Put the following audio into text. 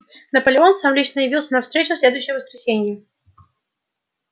наполеон сам лично явился на встречу в следующее воскресенье